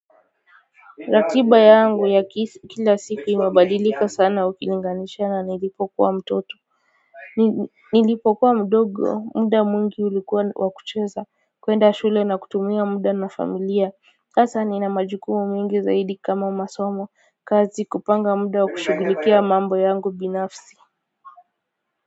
Ratiba yangu ya kila siku imebadilika sana ukilinganisha na nilipokuwa mtoto nilipokuwa mdogo muda mwingi ulikuwa wa kucheza, kwenda shule na kutumia muda na familia sasa nina majukumu mengi zaidi kama masomo kazi kupanga muda wa kushughulikia mambo yangu binafsi.